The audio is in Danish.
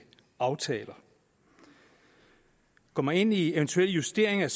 aftaler går man ind i eventuelle justeringer